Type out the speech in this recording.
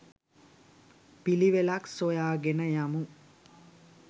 පිළිවෙලක් සොයා ගෙන යමු.